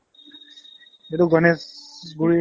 এইটো গণেশগুৰি